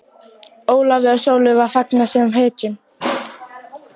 Ólafi og Sólu var fagnað sem hetjum.